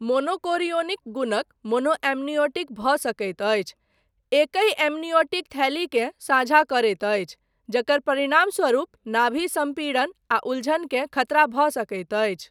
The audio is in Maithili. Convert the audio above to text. मोनोकोरियोनिक गुणक मोनोएम्नियोटिक भऽ सकैत अछि, एकहि एम्नियोटिक थैलीकेँ साझा करैत अछि, जकर परिणामस्वरूप नाभि सम्पीड़न आ उलझन के खतरा भऽ सकैत अछि।